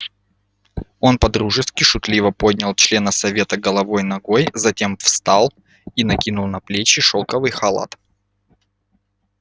он по-дружески шутливо поднял члена совета головой ногой затем встал и накинул на плечи шелковый халат